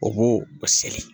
O b'o o seri